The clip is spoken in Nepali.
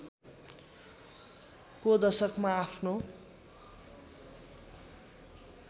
को दशकमा आफ्नो